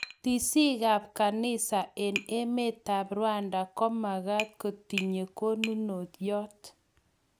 Tisiikab kanisa eng emetab Rwanda komakaat kotinyei konunoiyot